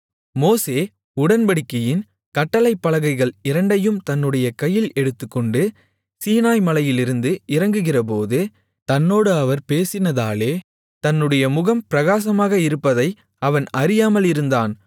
மோசே உடன்படிக்கையின் கட்டளைப் பலகைகள் இரண்டையும் தன்னுடைய கையில் எடுத்துக்கொண்டு சீனாய் மலையிலிருந்து இறங்குகிறபோது தன்னோடு அவர் பேசினதாலே தன்னுடைய முகம் பிரகாசமாக இருப்பதை அவன் அறியாமல் இருந்தான்